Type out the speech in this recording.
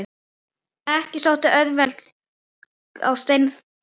Ekki sótti auðlegð á Stefán.